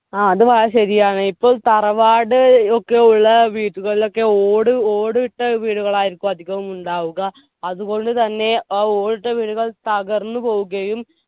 ആ അത് വളരെ ശെരിയാണ് ഇപ്പം തറവാട് ഒക്കെ ഉള്ള വീടുകളിലൊക്കെ ഓട് ഓട് ഇട്ട വീടുകളായിരിക്കും അധികവും ഉണ്ടാവുക അതുകൊണ്ട് തന്നെ ആ ഓടിട്ട വീടുകൾ തകർന്നു പോവുകയും